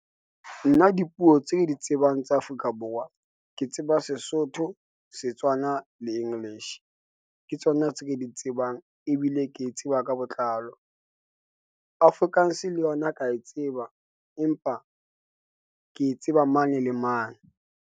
Nna dipuo tse di tsebang tsa Afrika Borwa. Ke tseba Sesotho, Setswana le English, ke tsona tse ke di tsebang ebile ke e tseba ka botlalo. Afrikaans le yona ka e tseba, empa ke tseba mane le mane.